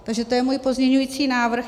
Takže to je můj pozměňující návrh.